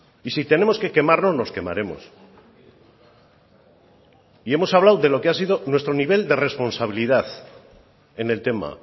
y si tenemos que quemarnos nos quemaremos y hemos hablado de lo que ha sido nuestro nivel de responsabilidad en el tema